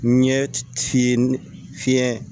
N ɲɛ fiyɛ fiyɛ